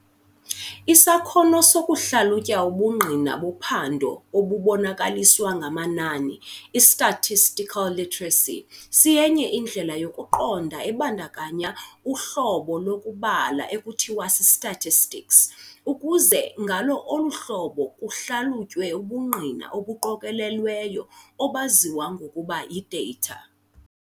Isakhono sokuhlalutya ubungqina bophando obubonakaliswa ngamanani, I-statistical literacy, siyenye indlela yokuqonda ebandakanya uhlobo lokubala ekuthiwa si-statistics, ukuze ngalo olu hlobo kuhlalutywe ubungqina obuqokolelweyo, obaziwa ngokuba yi-data.